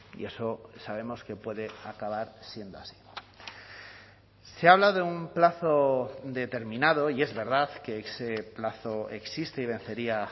y eso sabemos que puede acabar siendo así se habla de un plazo determinado y es verdad que ese plazo existe y vencería